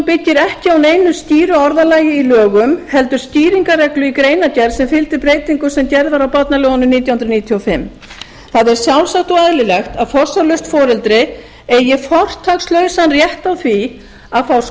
byggir ekki á neinu skýru orðalagi í lögum heldur skýringarreglu í greinargerð sem fylgdi breytingu sem gerð var á barnalögunum nítján hundruð níutíu og fimm það er sjálfsagt og eðlilegt að forsjárlaust foreldri eigi fortakslausan rétt á því að fá